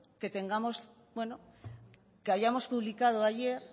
que tengamos bueno que hayamos publicado ayer